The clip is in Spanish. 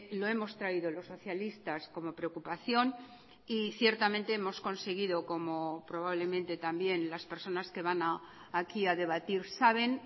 lo hemos traído los socialistas como preocupación y ciertamente hemos conseguido como probablemente también las personas que van aquí a debatir saben